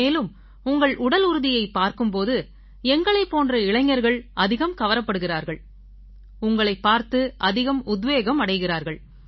மேலும் உங்கள் உடலுறுதியைப் பார்க்கும் போது எங்களைப் போன்ற இளைஞர்கள் அதிகம் கவரப்படுகிறார்கள் உங்களைப் பார்த்து அதிகம் உத்வேகம் அடைகிறார்கள்